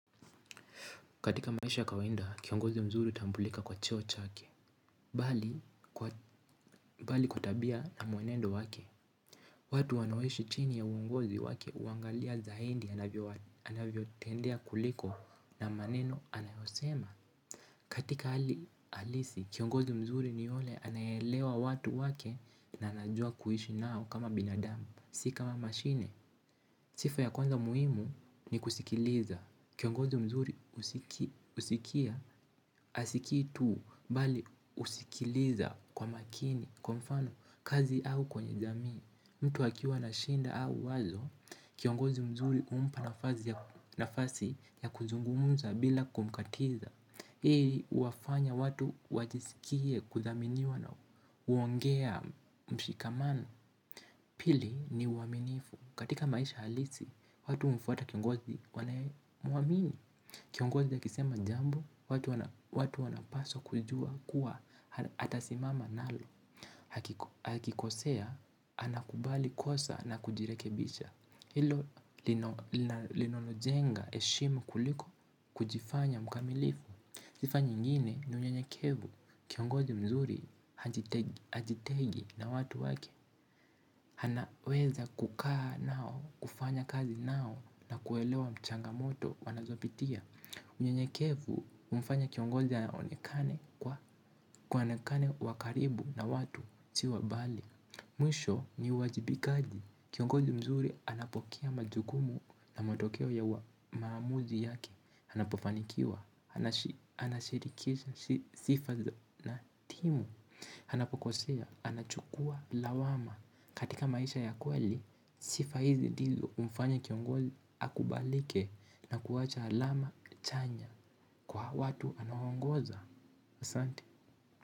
Katika maisha ya kawaida, kiongozi mzuri hutambulika kwa cheo chake. Bali kwa tabia na mwenendo wake. Watu wanaoishi chini ya uongozi wake huangalia zaidi anavyo tendea kuliko na maneno anayosema. Katika hali halisi kiongozi mzuri ni yule anayeelewa watu wake na anajua kuishi nao kama binadamu si kama mashine. Sifa ya kwanza muhimu ni kusikiliza. Kiongozi mzuri husikia hasikii tu bali husikiliza kwa makini, kwa mfano, kazi au kwenye jamii. Mtu akiwa na shida au wazo, kiongozi mzuri humpa nafasi nafasi ya kuzungumuza bila kumkatiza. Hii huwafanya watu wajisikie kuthaminiwa na huongea mshikamano pili ni uaminifu. Katika maisha halisi, watu humfuata kiongozi wanayemuamini. Kiongozi akisema jambo, watu wanapaswa kujua kuwa atasimama nalo. Akikosea, anakubali kosa na kujirekebisha. Hilo linalojenga heshimu kuliko kujifanya mkamilifu. Sifa nyingine, ni unyenyekevu, kiongozi mzuri, hajitengi na watu wake. Anaweza kukaa nao, kufanya kazi nao na kuelewa changamoto wanazopitia. Unyenyekevu humfanya kiongozi aonekane kwa aonekane wa karibu na watu si wa mbali mwisho ni uwajibikaji kiongozi mzuri anapokea majukumu na matokeo ya maamuzi yake anapofanikiwa anashirikisha sifa na timu anapokosea, anachukua lawama katika maisha ya kweli, sifa hizi ndizo humfanya kiongozi akubalike na kuwacha alama chanya kwa watu anaoongoza. Asanti.